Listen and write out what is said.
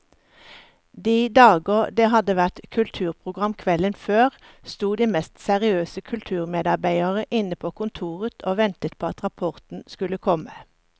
De dager det hadde vært kulturprogram kvelden før, sto de mest seriøse kulturmedarbeidere inne på kontoret og ventet på at rapporten skulle komme.